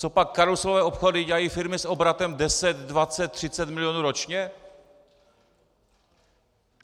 Copak karuselové obchody dělají firmy s obratem 10, 20, 30 mil. ročně?